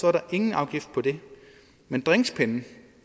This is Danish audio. er der ingen afgift på dem men drinkspinde